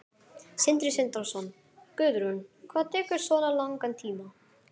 Sindri Sindrason: Guðrún, hvað tekur svona langan tíma?